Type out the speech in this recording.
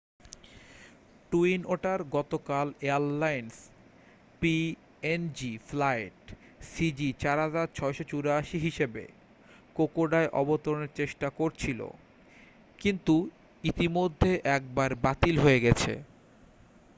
twin otter গতকাল airlines PNG flight সিজি4684 হিসেবে কোকোডায় অবতরণের চেষ্টা করছিল কিন্তু ইতিমধ্যে একবার বাতিল হয়ে গেছে